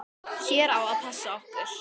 Hver á að passa okkur?